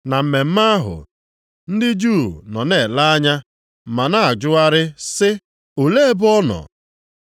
Na mmemme ahụ ndị Juu nọ na-ele anya ma na-ajụgharị sị, “Olee ebe ọ nọ?”